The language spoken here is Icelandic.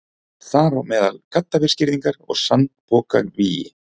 Þar á meðal gaddavírsgirðingar og sandpokavígi.